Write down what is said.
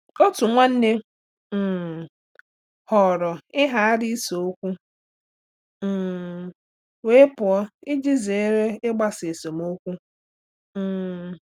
Otu nwanne um họọrọ ịghara ise okwu um wee pụọ iji zere ịgbasa esemokwu. um